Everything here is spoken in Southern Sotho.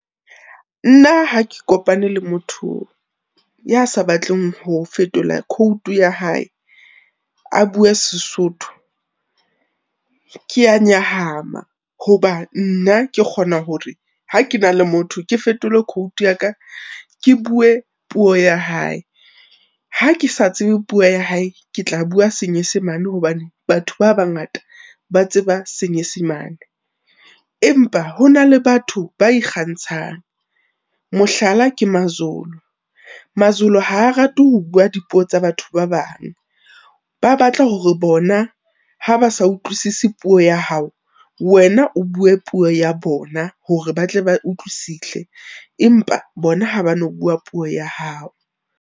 Nna ha ke kopane le motho ya sa batleng ho fetola khoutu ya hae, a bue Sesotho, ke ya nyahama, ho ba nna ke kgona hore ha ke na le motho ke fetole khoutu ya ka, ke bue puo ya hae. Ha ke sa tsebe puo ya hae, ke tla bua senyesemane hobane batho ba bangata ba tseba senyesemane. Empa hona le batho ba ikgantshang, mohlala, ke maZulu, maZulu ha rate ho bua dipuo tsa batho ba bang. Ba batla hore bona ha ba sa utlwisise puo ya hao, wena o bue puo ya bona hore ba tle ba utlwisise, empa bona ha ba no bua puo ya hao.